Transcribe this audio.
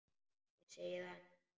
Ég segi það nú!